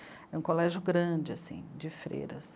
É um colégio grande, assim, de freiras.